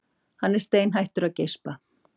Hann er steinhættur að geispa.